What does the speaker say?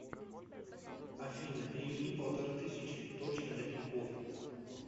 афина переведи полторы тысячи дочке на тинькофф